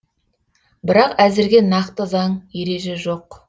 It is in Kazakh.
бірақ әзірге нақты заң ереже жоқ